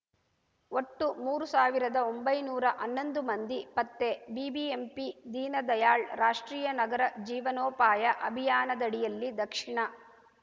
ಒಟ್ಟು ಮೂರು ಸಾವಿರದ ಹನ್ನೊಂದು ಮಂದಿ ಪತ್ತೆ ಬಿಬಿಎಂಪಿ ದೀನದಯಾಳ್‌ ರಾಷ್ಟ್ರೀಯ ನಗರ ಜೀವನೋಪಾಯ ಅಭಿಯಾನದಡಿಯಲ್ಲಿ ದಕ್ಷಿಣ